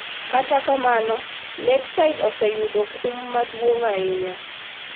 Kata kamano, Lakeside oseyudo kum maduong' ahinya